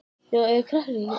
Góður málsháttur, finnst mér.